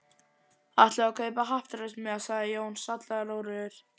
Ætluðuð þið að kaupa happdrættismiða? sagði Jón, sallarólegur.